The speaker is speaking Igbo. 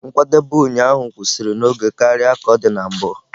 Nkwadebe ụnyaahụ kwụsịrị n'oge karịa ka ọ dị na mbụ.